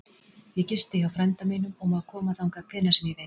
Ég gisti hjá frænda mínum og má koma þangað hvenær sem ég vil.